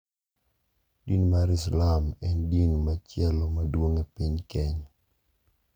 Din mar Islam en din machielo maduong' e piny Kenya,